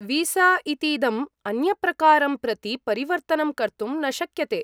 Visa इतीदं अन्यप्रकारं प्रति परिवर्तनं कर्तुं न शक्यते।